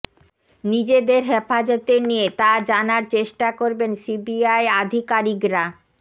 নিজেদের হেফাজতে নিয়ে তা জানার চেষ্টা করবেন সিবিআই আধিকারীকরা